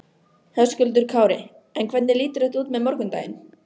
Höskuldur Kári: En hvernig lítur þetta út með morgundaginn?